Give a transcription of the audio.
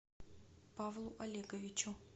павлу олеговичу